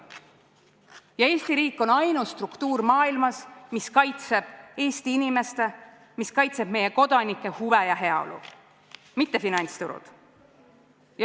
Ja Eesti riik on ainus struktuur maailmas, mis kaitseb Eesti inimeste, meie kodanike huve ja heaolu, mitte finantsturud.